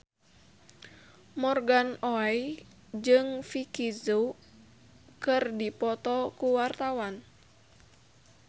Morgan Oey jeung Vicki Zao keur dipoto ku wartawan